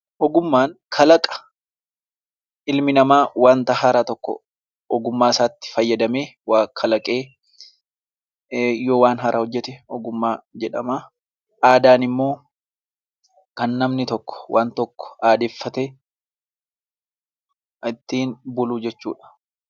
Ogummaan kalaqa ilmi namaa waanta haaraa tokko ogummaasaatti fayyadamee waa kalaqee, yoo waan haaraa hojjete ogummaa jedhama. Aadaan immoo kan namni tokko waan tokko aadeffatee ittiin bulu jechuudha.